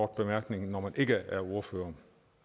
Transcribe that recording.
bemærkning når man ikke er ordfører